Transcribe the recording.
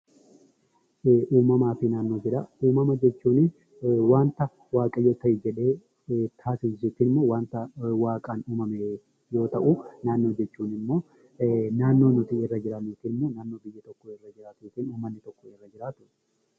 Uumamaa fi naannoo jedhaa, uumama jechuunii waanta waaqayyo ta'i jedhee taasisu jechuunimmoo wanta waaqaan uumame yoo ta'u naannoo jechuun immoo naannnoo nuti irra jiraannu yookinimmoo naannoo biyyi tokko irra jiraatu yookin uummanni tokko irra jiraatu.